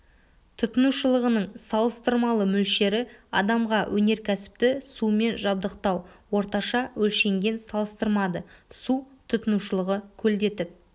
тұтынушылығының салыстырмалы мөлшері адамға өнеркәсіпті сумен жабдықтау орташа өлшенген салыстырмады су тұтынушылығы көлдетіп